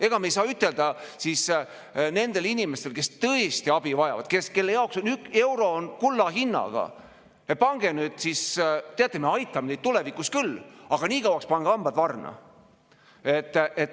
Ega me ei saa ütelda nendele inimestele, kes tõesti abi vajavad, kes kelle jaoks on üks euro kulla hinnaga, et teate, me aitame teid tulevikus küll, aga nii kauaks pange hambad varna.